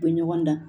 U bɛ ɲɔgɔn dan